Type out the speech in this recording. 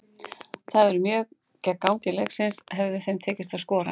Það hefði verið mjög gegn gangi leiksins hefði þeim tekist að skora.